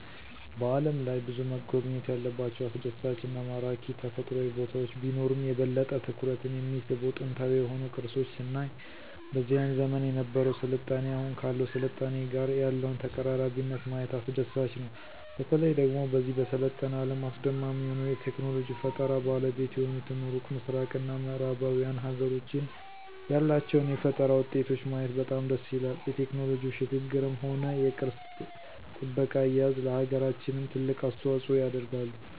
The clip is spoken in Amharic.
በዓለም ላይ ብዙ መጎብኘት ያለባቸው አስደሳች እና ማራኪ ተፈጥሮአዊ ቦታወች ቢኖሩም የበለጠ ትኩረትን የሚስቡ ጥንታዊ የሆኑ ቅርሶች ስናይ በዚያን ዘመን የነበረው ስልጣኔ አሁኑ ካለው ስልጣኔ ጋር ያለውን ተቀራራቢነት ማየት አስደሳች ነው። በተለየ ደግሞ በዚህ በሰለጠነ አለም አስደማሚ የሆኑ የቴክኖሎጂ ፈጠራ ባለቤት የሆኑትን ሩቅ ምስራቅ እና ምዕራባውያን ሀገሮችን ያላቸውን የፈጠራ ውጤቶች ማየት በጣም ደስ ይላል የቴክኖሎጂው ሽግግርም ሆነ የቅርስ ጥበቃ አያያዝ ለሀገራችንም ትልቅ አስተዋጽኦ ያደርጋሉ።